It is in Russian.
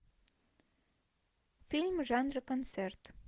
фильмы жанра концерт